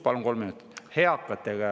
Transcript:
Palun kolm minutit.